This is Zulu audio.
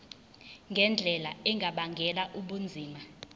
ngendlela engabangela ubunzima